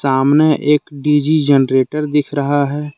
सामने एक D G generator दिख रहा है।